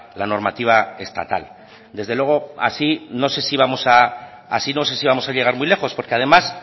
la normativa estatal desde luego así no sé si vamos a llegar muy lejos porque además